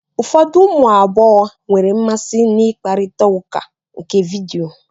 Ụfọdụ ụmụ agbọghọ nwere mmasị na ikparita ụka nke vidio